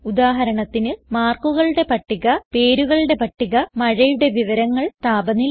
ഉദാഹരണത്തിന് മാർക്കുകളുടെ പട്ടിക പേരുകളുടെ പട്ടിക മഴയുടെ വിവരങ്ങൾ താപനില